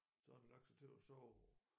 Så havde den lagt sig til at sove